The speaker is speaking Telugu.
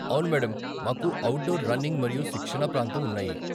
అవును మేడమ్, మాకు అవుట్డోర్ రన్నింగ్ మరియు శిక్షణ ప్రాంతం ఉన్నాయి.